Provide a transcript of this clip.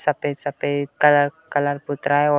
सफ़ेद सफ़ेद colour colour पुत रहा है और --